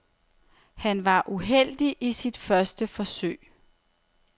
Han var uheldig i sit første forsøg.